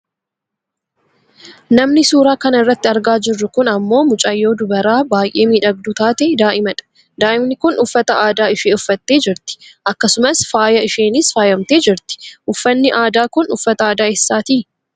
Namni suuraa kana irratti argaa jirru kun ammoo mucayyoo dubbaraa baayyee miidhagduu taate daa'imadha. Daa'imni kun uffata aadaa ishee uffattee jirti. Akkasumas faaya isheenis faayamtee jirti. Uffanni aadaa kun uffata aadaa eessaati?